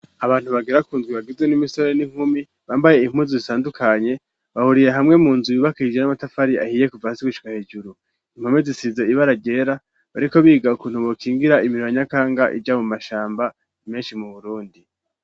Abantu bagira kundwi bagizwe n'imisore n'inkumi bambaye inpunzu zitandukanye bahuriye hamwe munzu yubakaijwe n'amatafari ahiye kuva hasi gushika hejuru impome zisize ibara ryera bariko biga ukuntu bokingira imiriba nyakanga ija mu mashamba meshi mu Burundi.